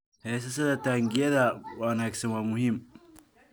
Haysashada taangiyada wanaagsan waa muhiim.